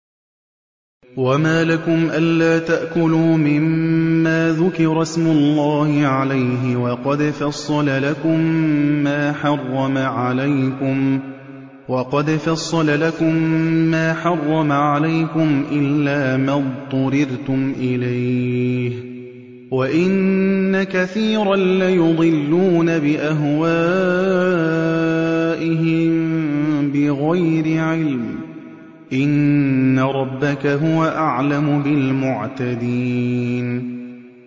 وَمَا لَكُمْ أَلَّا تَأْكُلُوا مِمَّا ذُكِرَ اسْمُ اللَّهِ عَلَيْهِ وَقَدْ فَصَّلَ لَكُم مَّا حَرَّمَ عَلَيْكُمْ إِلَّا مَا اضْطُرِرْتُمْ إِلَيْهِ ۗ وَإِنَّ كَثِيرًا لَّيُضِلُّونَ بِأَهْوَائِهِم بِغَيْرِ عِلْمٍ ۗ إِنَّ رَبَّكَ هُوَ أَعْلَمُ بِالْمُعْتَدِينَ